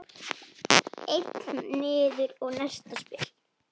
Einn niður og næsta spil.